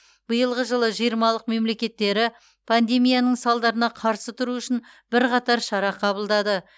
биылғы жылы жиырмалық мемлекеттері пандемияның салдарына қарсы тұру үшін бірқатар шара қабылдады